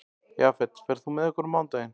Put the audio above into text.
Jafet, ferð þú með okkur á mánudaginn?